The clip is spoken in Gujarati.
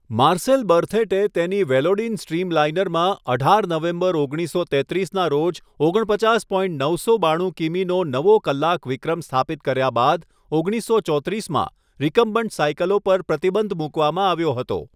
માર્સેલ બર્થેટે તેની વેલોડિન સ્ટ્રીમલાઇનરમાં અઢાર નવેમ્બર ઓગણીસસો તેત્રીસના રોજ ઓગણપચાસ પોઇન્ટ નવસો બાણુ કિમીનો નવો કલાક વિક્રમ સ્થાપિત કર્યા બાદ ઓગણીસસો ચોત્રીસમાં રિકમ્બન્ટ સાઇકલો પર પ્રતિબંધ મૂકવામાં આવ્યો હતો.